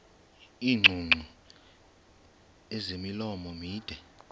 iingcungcu ezimilomo mide